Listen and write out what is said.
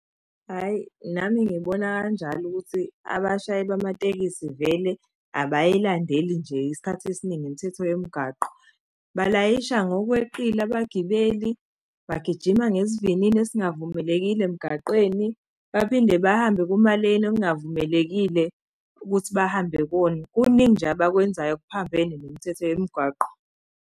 Hhayi, nami ngibona kanjalo ukuthi abashayeli bamatekisi vele abayilandeli nje isikhathi esiningi imithetho yomgaqo. Balayisha ngokweqile abagibeli, bagijima ngesivinini esingavumelekile emgaqweni, baphinde bahambe kumaleni okungavumelekile ukuthi bahambe kuwona. Kuningi nje abakwenzayo okuphambene nemithetho yemgwaqo